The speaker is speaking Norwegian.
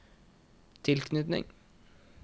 tilknytning